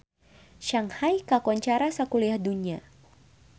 Shanghai kakoncara sakuliah dunya